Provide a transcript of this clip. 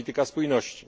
polityka spójności.